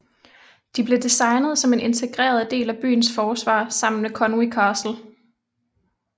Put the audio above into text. De blev designet som en integreret del af byens forsvar sammen med Conwy Castle